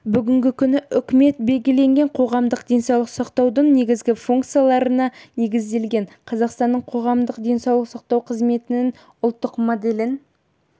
бүгінгі күні үкімет белгіленген қоғамдық денсаулық сақтаудың негізгі функцияларына негізделген қазақстанның қоғамдық денсаулық сақтау қызметінің ұлттық моделін